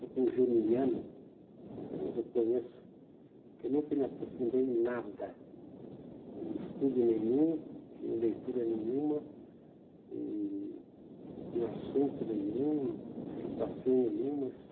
Eu, como germiniano, eu reconheço que nunca me aprofundei em nada, em estudo nenhum, em leitura nenhuma, em em assunto nenhum, em situações nenhumas.